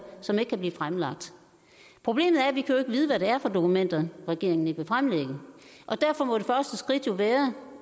som ikke kan blive fremlagt problemet er at vi ikke kan vide hvad det er for dokumenter regeringen ikke vil fremlægge og derfor må det første skridt være